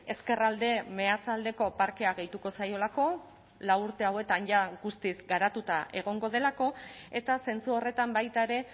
ezkerralde meatzaldeko parkea gehituko zaiolako lau urte hauetan jada guztiz garatuta egongo delako eta zentzu horretan baita ere